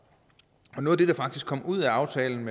og noget af det der faktisk kom ud af aftalen